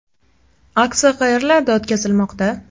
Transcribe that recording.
Aksiya qayerlarda o‘tkazilmoqda?